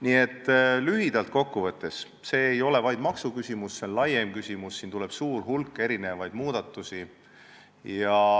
Nii et lühidalt kokku võttes ei ole see vaid maksuküsimus, see on laiem küsimus ja siin tuleb teha suur hulk muudatusi.